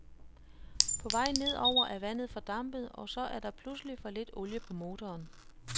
På vej nedover er vandet fordampet, og så er der pludselig for lidt olie på motoren.